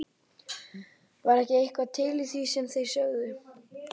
Var ekki eitthvað til í því sem þeir sögðu?